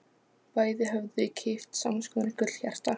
Bæði höfðu þau keypt sams konar gullhjarta.